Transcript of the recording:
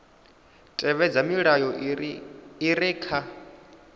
tevhedza milayo i re kha